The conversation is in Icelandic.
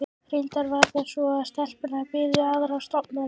Reyndar var það svo að stelpunnar biðu aðrar stofnanir.